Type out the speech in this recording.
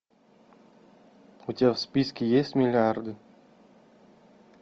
у тебя в списке есть миллиарды